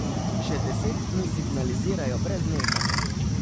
Že deset dni signalizirajo brez nehanja.